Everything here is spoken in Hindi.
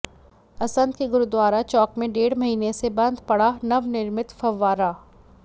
असन्ध के गुरुद्वारा चौक में डेढ़ महीने से बंद पड़ा नवनिर्मित फव्वारा